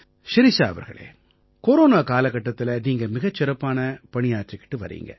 ஷிரிஷா அவர்களே கொரோனா காலகட்டத்தில நீங்க மிகச் சிறப்பான பணியாற்றிக்கிட்டு வர்றீங்க